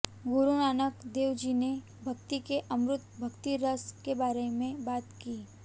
गुरु नानक देव जी ने भक्ति के अमृत भक्ति रस के बारे में बात की